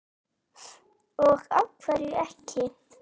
Og af hverju ekki?